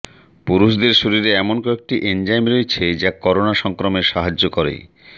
পুরুষদের শরীরে এমন কয়েকটি এনজাইম রয়েছে যা করোনা সংক্রমণে সাহায্য